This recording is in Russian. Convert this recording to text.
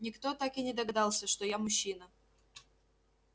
никто так и не догадался что я мужчина